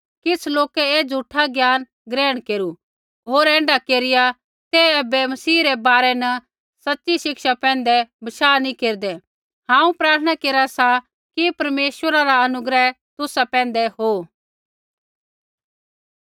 किछ़ लोकै ऐ झ़ूठा ज्ञाना ग्रहण केरू होर ऐण्ढा केरिया ते ऐबै मसीह रै बारै न सच़ी शिक्षा पैंधै बशाह नैंई केरदै हांऊँ प्रार्थना केरा सा कि परमेश्वरा रा अनुग्रह तुसा पैंधै हो